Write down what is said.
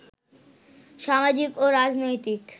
সামাজিক ও রাজনৈতিক